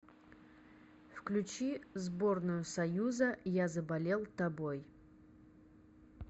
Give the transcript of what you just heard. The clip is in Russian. включи сборную союза я заболел тобой